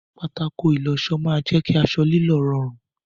Pátákó ìlọṣọ máa jẹ kí aṣọ lílọ̀ rọrùn.